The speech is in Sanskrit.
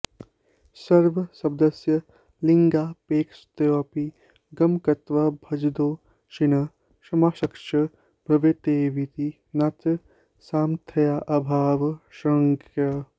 सर्वशब्दस्य लिङ्गापेक्षत्वेऽपि गमकत्वाद्भजो ण्विः समासश्च भवत्येवेति नात्र सामथ्र्याऽभावः शङ्क्यः